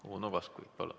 Uno Kaskpeit, palun!